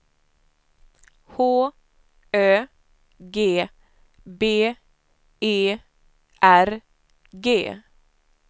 H Ö G B E R G